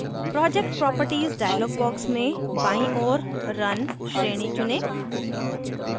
project properties dialog box में बाईँ ओर run श्रेणी चुनें